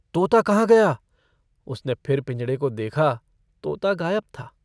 तोता कहाँ गया उसने फिर पिंजड़े को देखा तोता गायब था।